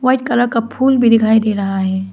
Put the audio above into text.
White colour का फूल भी दिखाई दे रहा है।